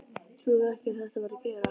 Trúði ekki að þetta væri að gerast.